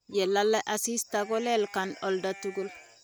ye lala asista kulelkaan oldo tugul